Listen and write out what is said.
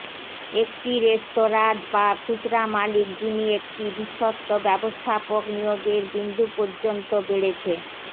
একটি রেস্তোরাঁ বা খুচরা মালিক যিনি একটি বিশ্বস্ত ব্যবস্থাপক নিয়োগের বিন্দু পর্যন্ত বেড়েছে